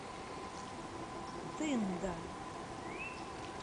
тында